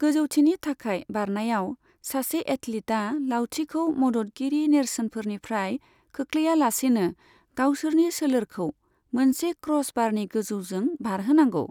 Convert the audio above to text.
गोजौथिनि थाखाय बारनायाव, सासे एथलीटआ लावथिखौ मददगिरि नेरसोनफोरनिफ्राय खोख्लैयालासेनो गावसोरनि सोलेरखौ मोनसे क्र'सबारनि गोजौजों बारहोनांगौ।